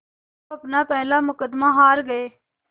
वो अपना पहला मुक़दमा हार गए